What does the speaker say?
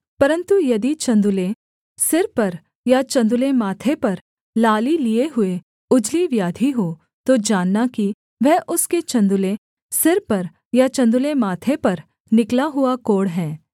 परन्तु यदि चन्दुले सिर पर या चन्दुले माथे पर लाली लिये हुए उजली व्याधि हो तो जानना कि वह उसके चन्दुले सिर पर या चन्दुले माथे पर निकला हुआ कोढ़ है